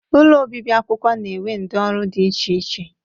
Ụlọ obibi akwụkwọ na-enwe ndị ọrụ dị iche iche.